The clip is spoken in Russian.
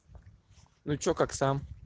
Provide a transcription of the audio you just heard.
ну что как сам